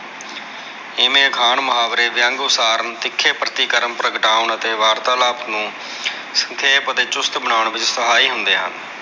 ਇਮੇ ਅਖਾਣ ਮੁਹਾਵਰੇ ਵਿਅੰਗ ਉਸਾਰਨ ਤਿੱਖੇ ਪ੍ਰਤੀਕਰਮ ਪ੍ਰਗਟਾਉਣ ਅਤੇ ਵਾਰਤਾਲਾਪ ਨੂੰ ਸੰਖੇਪ ਅਤੇ ਚੁਸਤ ਬਨਾਉਣ ਵਿੱਚ ਸਹਾਈ ਹੁੰਦੇ ਹਨ।